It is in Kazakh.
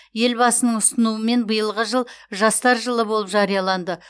елбасының ұсынуымен биылғы жыл жастар жылы болып жарияланды